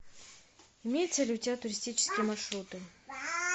имеются ли у тебя туристические маршруты